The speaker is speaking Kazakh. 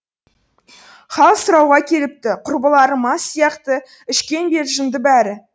хал сұрауға келіпті құрбылары мас сияқты ішкен бе жынды бәрі